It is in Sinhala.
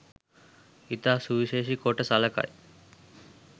ඉතා සුවිශේෂි කොට සලකයි